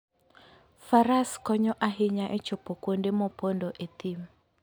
Faras konyo ahinya e chopo kuonde mopondo e thim.